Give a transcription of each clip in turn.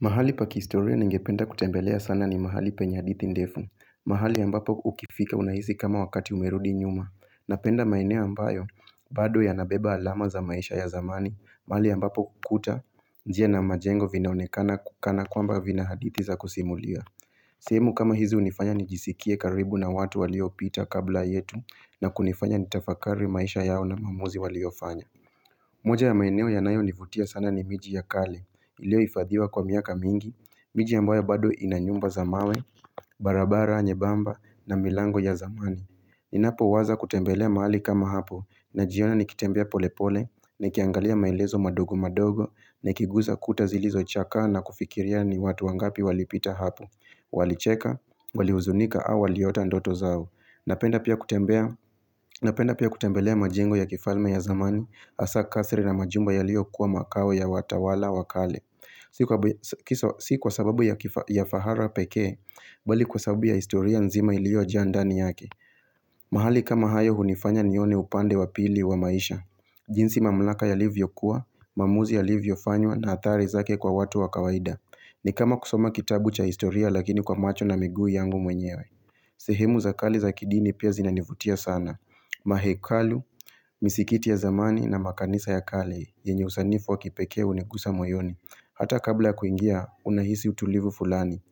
Mahali pakistoria ningependa kutembelea sana ni mahali penye hadithi ndefu, mahali ambapo ukifika unahisi kama wakati umerudi nyuma, napenda maeneo ambayo, bado ya nabeba alama za maisha ya zamani, mahali ambapo kuta njia na majengo vinaonekana kana kwamba vina hadithi za kusimulia. Sehemu kama hizi unifanya nijisikie karibu na watu walio pita kabla yetu na kunifanya nitafakari maisha yao na maamuzi waliofanya. Moja ya maeneo ya nayo nivutia sana ni miji ya kale, ilio ifadhiwa kwa miaka mingi, miji ambayo bado ina nyumba za mawe, barabara nye bamba na milango ya zamani. Ninapo waza kutembelea mahali kama hapo na jiona nikitembea polepole ni kiangalia mailezo madogo madogo na kiguza kuta zilizo chakaa na kufikiria ni watu wangapi walipita hapo. Walicheka, walihuzunika, au waliota ndoto zao Napenda pia kutembelea majengo ya kifalme ya zamani Asa kasri na majumba ya lio kuwa makao ya watawala wakale Sikwa sababu ya fahara pekee Bali kwa sababu ya historia nzima ilio jaa ndani yake mahali kama hayo hunifanya nione upande wa pili wa maisha jinsi mamlaka yalivyo kuwa, maamuzi ya livyo fanywa na athari zake kwa watu wa kawaida ni kama kusoma kitabu cha historia lakini kwa macho na miguu yangu mwenyewe sehemu za kali za kidini pia zinanivutia sana Mahekalu, misikiti ya zamani na makanisa ya kale yenye usanifu wa kipekee unigusa moyoni Hata kabla kuingia unahisi utulivu fulani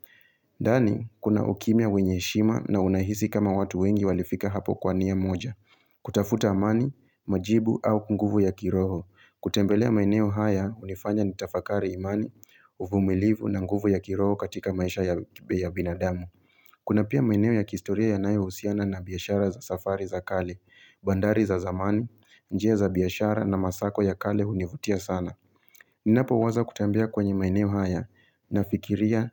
ndani kuna ukimya wenye heshima na unahisi kama watu wengi walifika hapo kwania moja kutafuta amani, majibu au kunguvu ya kiroho kutembelea maeneo haya unifanya nitafakari imani uvumilivu na nguvu ya kiroho katika maisha ya binadamu Kuna pia maeneo ya kihistoria ya nayohusiana na biashara za safari za kale bandari za zamani, njia za biashara na masako ya kale univutia sana Ninapo waza kutembea kwenye maeneo haya na fikiria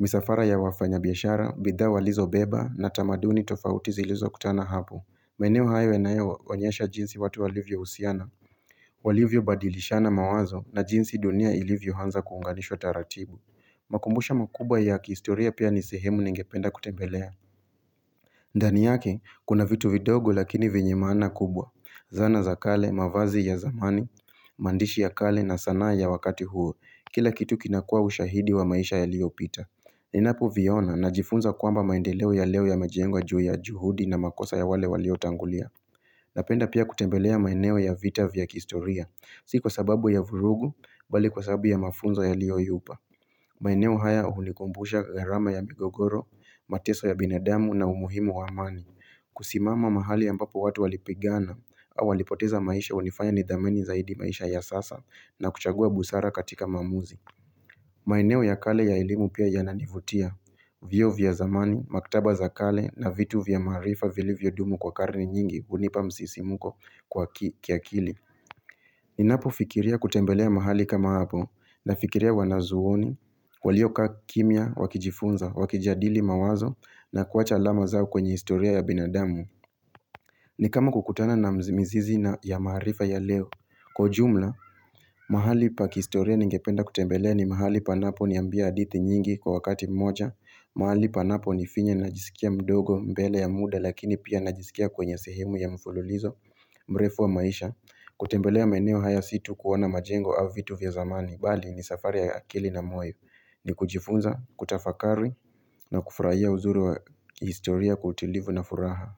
misafara ya wafanya biashara, bidhaa walizo beba na tamaduni tofauti zilizo kutana hapo maeneo hayo yanayooyesha jinsi watu wa livyo husiana walivyo badilishana mawazo na jinsi dunia ilivyo anza kuunganishwa taratibu makumbusho makubwa ya kihistoria pia nisehemu ningependa kutembelea ndani yake, kuna vitu vidogo lakini venye maana kubwa Zana za kale, mavazi ya zamani, maandishi ya kale na sanaa ya wakati huo Kila kitu kinakua ushahidi wa maisha ya liopita Ninapo viona na jifunza kwamba maendeleo ya leo ya majengwa juu ya juhudi na makosa ya wale walio tangulia Napenda pia kutembelea maeneo ya vita vya kihistoria Si kwa sababu ya vurugu bali kwa sababu ya mafunzo ya lioyupa maeneo haya hunikumbusha gharama ya migogoro, mateso ya binadamu na umuhimu waamani kusimama mahali ampapo watu walipigana au walipoteza maisha unifanya nidhamini zaidi maisha ya sasa na kuchagua busara katika maamuzi maeneo ya kale ya elimu pia yananivutia Vyuo vya zamani, maktaba za kale na vitu vya maarifa vili vya dumu kwa karne nyingi unipa msisimuko kwa kiakili ni napo fikiria kutembelea mahali kama hapo na fikiria wanazuoni, walio kaa kimia, wakijifunza, wakijadili mawazo na kuacha alama zao kwenye historia ya binadamu. Ni kama kukutana na mzi mizizi na ya maarifa ya leo. Kwa ujumla, mahali pa kihistoria ningependa kutembelea ni mahali panapo niambia hadithi nyingi kwa wakati moja. Mahali panapo ni finya najisikia mdogo mbele ya muda lakini pia najisikia kwenye sehemu ya mfululizo, mrefu wa maisha. Kutembelea maeneo haya situ kuona majengo au vitu vya zamani Bali ni safari ya akili na moyo ni kujifunza, kutafakari na kufurahia uzuri wa historia kwa utilivu na furaha.